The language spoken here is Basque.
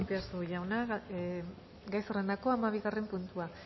azpiazu jauna gai zerrendako hamabigarren puntua